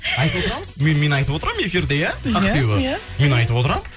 айтып отырамыз мен мен айтып отырамын эфирде иә ақбибі мен айтып отырамын